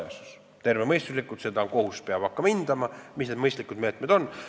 Kohus peab tervemõistuslikult hakkama hindama, mis need mõistlikud meetmed on.